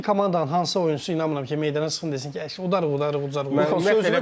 Milli komandanın hansısa oyunçu inanıram ki, meydana çıxıb deməsin ki, udarıq udarıq, udarıq, uzarıq.